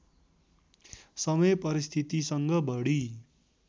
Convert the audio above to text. समय परिस्थितिसँग बढी